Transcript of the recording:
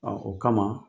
o kama